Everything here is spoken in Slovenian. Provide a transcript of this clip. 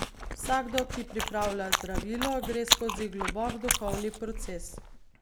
Vsakdo, ki pripravlja zdravilo, gre skozi globok duhovni proces.